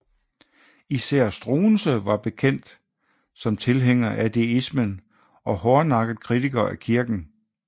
Især Struensee var bekendt som tilhænger af deismen og hårdnakket kritiker af kirken